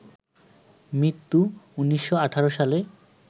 মৃত্যু ১৯১৮ সালে